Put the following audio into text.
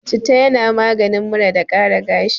Citta yana maganin mura da ƙara gashi.